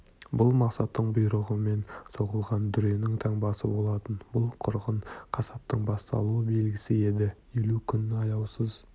бұл мақсаттың бұйрығымен соғылған дүренің таңбасы болатын бұл қырғын қасаптың басталу белгісі еді елу күң аяусыз